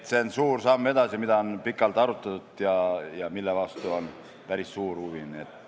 See on suur samm edasi, mida on pikalt arutatud ja mille vastu on päris suur huvi.